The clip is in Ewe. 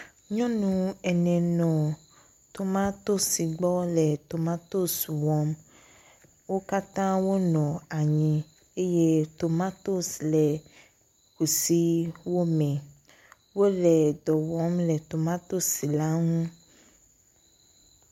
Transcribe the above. Nyɔnu ene nɔ tomatosi gbɔ le tomatosi wɔm. Wo katã wonɔ anyi eye tomatosi le kusiwo me. wole dɔ wɔm le tomatosi la ŋu.